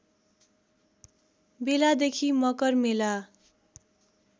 बेलादेखि मकर मेला